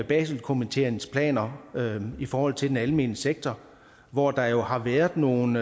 baselkomiteens planer i forhold til den almene sektor hvor der jo har været nogle